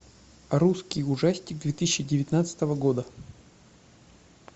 русский ужастик две тысячи девятнадцатого года